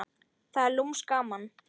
Það er lúmskt gaman.